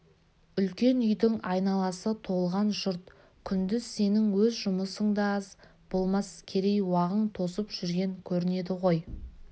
үлкен үйдің айналасы толған жұрт күндіз сенің өз жұмысың да аз болмас керей-уағың тосып жүрген көрінеді ғой